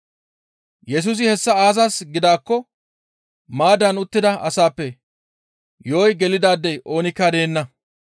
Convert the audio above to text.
Yesusi hessa aazas gidaakko maaddaan uttida asaappe yo7oy gelidaadey oonikka deenna.